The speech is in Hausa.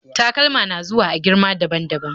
Takalma na zuwa a girma daban-daban